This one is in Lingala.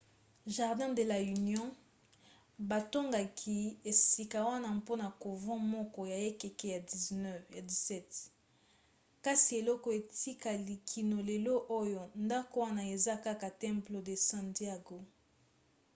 jardín de la unión. batongaki esika wana mpona couvent moko ya ekeke ya 17 kasi eloko etikali kino lelo oya ndako wana eza kaka templo de san diego